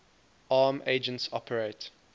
arm agents operate